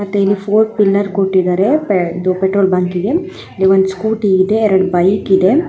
ಮತ್ತೆ ಇಲ್ಲಿ four pillar ಕೊಟ್ಟಿದ್ದಾರೆ ಪೆಟ್ರೋಲ್ ಬಂಕಿಗೆ. ಇಲ್ಲಿ ಒಂದು ಸ್ಕೂಟಿ ಇದೆ ಎರಡ ಬೈಕ್ ಇದೆ.